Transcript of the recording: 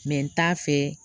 n t'a fɛ